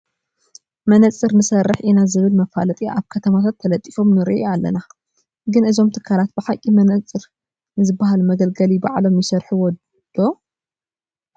መነፀር ንሰርሕ ኢና ዝብል መፋለጢ ኣብ ከተማታት ተለጢፎም ንርኢ ኢና፡፡ ግን እዞም ትካላት ብሓቂ መነፀር ንዝበሃል መገልገሊ ባዕሎም ይሰርሑዎ ዶ?